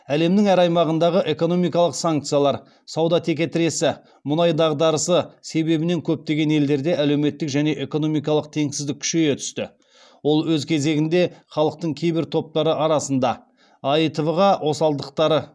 әлемнің әр аймағындағы экономикалық санкциялар сауда текетіресі мұнай дағдарысы себебінен көптеген елдерде әлеуметтік және экономикалық теңсіздік күшейе түсті ол өз кезегінде халықтың кейбір топтары арасында аитв ға осалдықтары